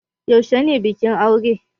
Yaushe ne bikin aure?